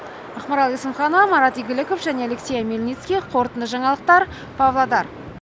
ақмарал есімханова марат игіліков және алексей омельницкий қорытынды жаңалықтар павлодар